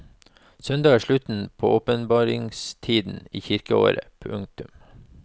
Søndag er slutten på åpenbaringstiden i kirkeåret. punktum